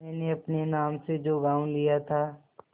मैंने अपने नाम से जो गॉँव लिया था